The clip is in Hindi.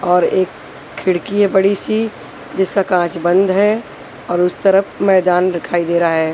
और एक खिड़की है बड़ी सी जिसका कांच बंद है और उस तरफ मैदान दिखाई दे रहा है।